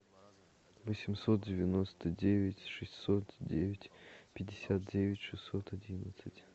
восемьсот девяносто девять шестьсот девять пятьдесят девять шестьсот одиннадцать